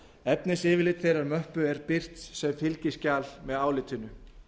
efnisyfirlit þeirrar möppu er birt sem fylgiskjal með álitinu